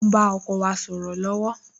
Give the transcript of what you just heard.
O ń bá ọkọ wa sọ̀rọ̀ lọ́wọ́